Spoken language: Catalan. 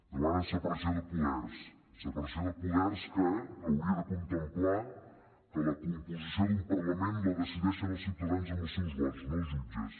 demanen separació de poders separació de poders que hauria de contemplar que la composició d’un parlament la decideixen els ciutadans amb els seus vots no els jutges